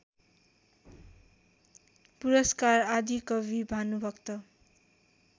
पुरस्कार आदिकवि भानुभक्त